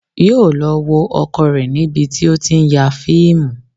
Yóò lọ wo ọkọ rẹ̀ níbi tí ó ti ń ya fíìmù